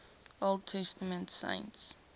old testament saints